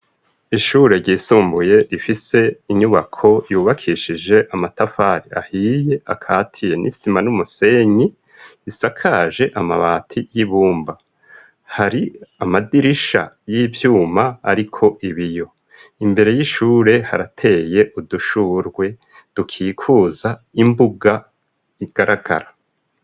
Ishure ryisumbuye, rifise inyubako, yubakishije amatafari ahiye, akatiye n'isima n'umusenyi; isakaje amabati y'ibumba, hari amadirisha y'ivyuma, ariko ibiyo; imbere y'ishure, harateye udushurwe, dukikuza imbuga, igaragara.